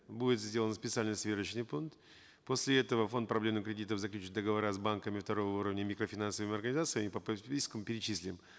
будет сделан специальный сверочный пункт после этого фонд проблемных кредитов заключит договора с банками второго уровня и микрофинансовыми организациями и по перечислим